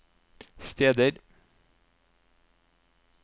steder